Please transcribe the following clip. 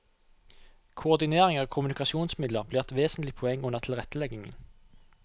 Koordinering av kommunikasjonsmidler blir et vesentlig poeng under tilretteleggingen.